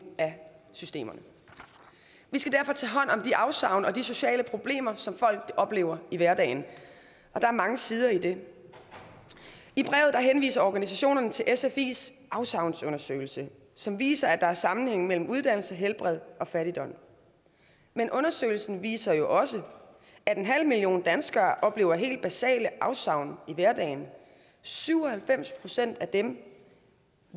af systemerne vi skal derfor tage hånd om de afsavn og de sociale problemer som folk oplever i hverdagen og der er mange sider af det i brevet henvise organisationerne til sfis afsavnsundersøgelse som viser at der er en sammenhæng mellem uddannelse helbred og fattigdom men undersøgelsen viser jo også at en halv million danskere oplever helt basale afsavn i hverdagen syv og halvfems procent af dem